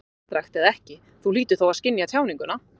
Afstrakt eða ekki, Þú hlýtur þó að skynja tjáninguna.